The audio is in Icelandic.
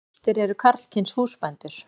Flestir eru karlkyns húsbændur.